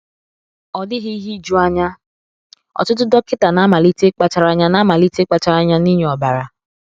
Ọ dịghị ihe ijuanya, ọtụtụ dọkịta na-amalite ịkpachara anya na-amalite ịkpachara anya n’ịnye ọbara.